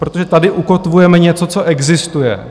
Protože tady ukotvujeme něco, co existuje.